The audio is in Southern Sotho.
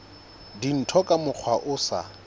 dintho ka mokgwa o sa